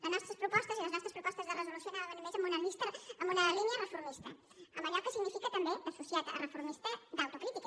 les nostres propostes i les nostres propostes de resolució anaven més en una línia reformista en allò que significa també associat a reformista d’autocrítica